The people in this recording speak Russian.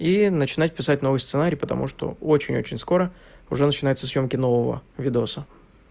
и начинать писать новый сценарий потому что очень-очень скоро уже начинаются съёмки нового видоса